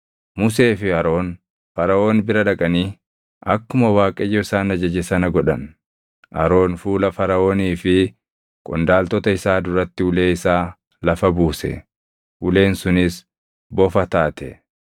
Musee fi Aroon Faraʼoon bira dhaqanii akkuma Waaqayyo isaan ajaje sana godhan. Aroon fuula Faraʼoonii fi qondaaltota isaa duratti ulee isaa lafa buuse; uleen sunis bofa taate.